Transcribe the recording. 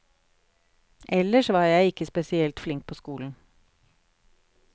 Ellers var jeg ikke spesielt flink på skolen.